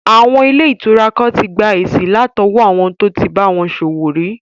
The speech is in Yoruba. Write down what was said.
Àwọn ilé ìtura kan tí gba èsì látọwọ́ àwọn tó tí bá wọn ṣòwò rí